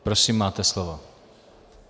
Prosím, máte slovo.